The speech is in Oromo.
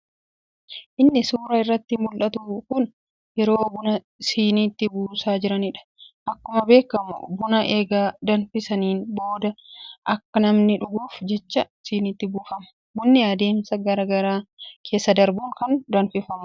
Inni suuraa irratti muldhatu kun yeroo buna sinitti buusaa jiraniidha. Akkuma beekkamu buna eega danfisaniin booda akka namni dhuguuf jecha sinitti buufama. Bunni adeemsa garaa garaa keessa darbuun kan danfifamuudha.